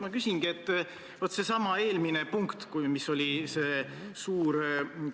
Ma usun, et härra Jürgen Ligile ei ole teadmata, et me elame infotehnoloogiaajastul ning meil on olemas ka elektroonilised sidevahendid.